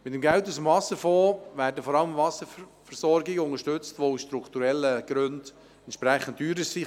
Mit dem Geld aus dem Wasserfonds werden vor allem Wasserversorgungen unterstützt, die aus strukturellen Gründen entsprechend teurer sind.